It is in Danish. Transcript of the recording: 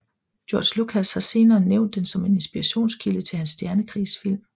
George Lucas har senere nævnt den som en inspirationskilde til hans stjernekrigsfilm